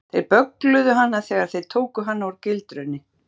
Þeir böggluðu hana þegar þeir tóku hana úr gildrunni.